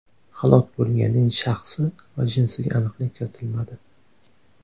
Halok bo‘lganning shaxsi va jinsiga aniqlik kiritilmadi.